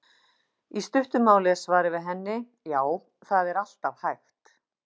Í stuttu máli er svarið við henni: Já, það er alltaf hægt.